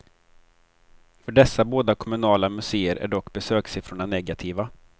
För dessa båda kommunala museer är dock besökssiffrorna negativa.